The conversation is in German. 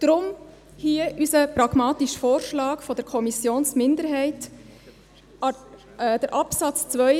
Deshalb hier unser pragmatischer Vorschlag seitens der Kommissionsminderheit: Absatz 2